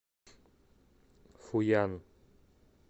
фуян